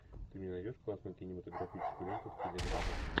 ты мне найдешь классную кинематографическую ленту в стиле драмы